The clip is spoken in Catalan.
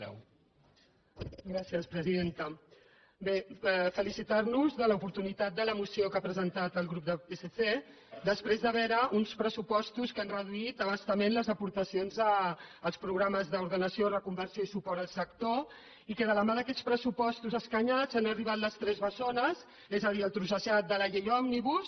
bé felicitar nos de l’oportunitat de la moció que ha presentat el grup del psc després de veure uns pressupostos que han reduït a bastament les aportacions als programes d’ordenació reconversió i suport al sector i que de la mà d’aquests pressupostos escanyats han arribat les tres bessones és a dir el trossejament de la llei òmnibus